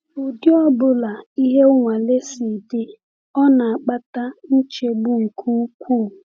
Ụdị ọ bụla ihe nwale si dị, ọ na-akpata nchegbu nke ukwuu.